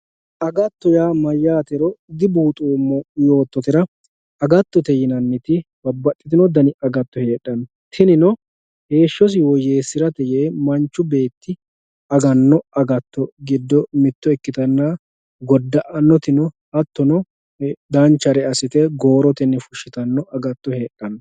agatto yaa mayaatero dibuxoomo yoototera agatote yinanniti babbaxino dani agato heexxanno tinino heeshshosi woyeesirate yee manchu beetti aganno agato gido mitto ikkitanna goda"annoti no hattono danchare assite goorotenni fushshitanno agatto heexanno